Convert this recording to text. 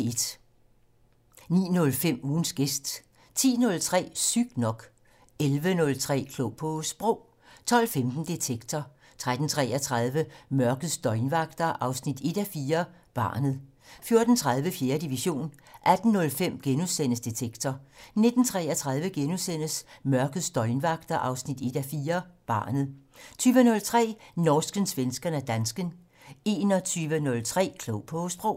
09:05: Ugens gæst 10:03: Sygt nok 11:03: Klog på Sprog 12:15: Detektor 13:33: Mørkets døgnvagter 1:4 - Barnet 14:30: 4. division 18:05: Detektor * 19:33: Mørkets døgnvagter 1:4 - Barnet * 20:03: Norsken, svensken og dansken 21:03: Klog på Sprog *